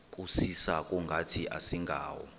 kusisa kungathi asingawo